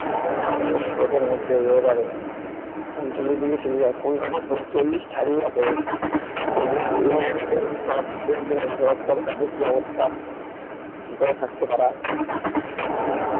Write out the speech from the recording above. ছাতা পড়া রোদের মধ্যে এই weather এ উনচল্লিশ চল্লিশ কলকাতা তো চল্লিশ ছাড়িয়ে গেছে তাহলে বল এই weather এ বসবাস করে তাদের কি অবস্থা কি করে থাকছে তারা কি